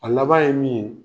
A laban ye min ye